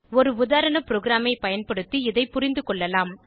ஒரு உதாரண ப்ரோகிராமை பயன்படுத்தி இதை புரிந்துகொள்ளலாம்